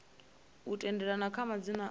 u tendelana kha madzina a